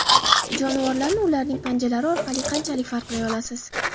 Jonivorlarni ularning panjalari orqali qanchalik farqlay olasiz?